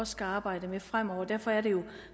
skal arbejde med fremover og derfor er det jo